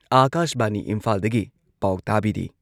ꯑꯥꯀꯥꯁꯕꯥꯅꯤ ꯏꯝꯐꯥꯜꯗꯒꯤ ꯄꯥꯎ ꯇꯥꯕꯤꯔꯤ꯫